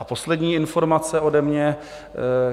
A poslední informace ode mě.